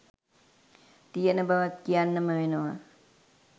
තියෙන බවත් කියන්නම වෙනවා.